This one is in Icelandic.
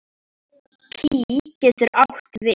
Pí getur átt við